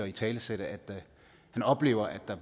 italesat at han oplever at der